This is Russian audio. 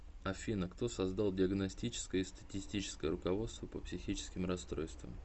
афина кто создал диагностическое и статистическое руководство по психическим расстройствам